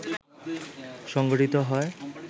সংঘটিত হয়